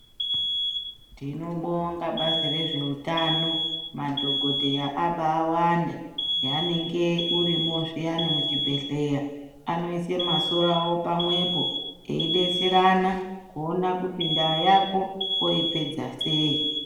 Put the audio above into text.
Tinobonga bazi rezveutano madhokotera ambaiwanda henenge urimo zviyani muzvibhehlera anoisa masoro pamwepo eibetserana kuona kuti ndaa yako oipedza sei.